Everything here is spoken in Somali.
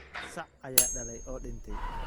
Sac ayaa dhalay oo dhintay